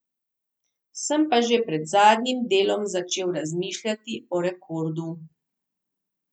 Sem pa že pred zadnjim delom začel razmišljati o rekordu.